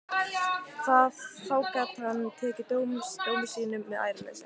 Þá gat hann tekið dómi sínum með æðruleysi.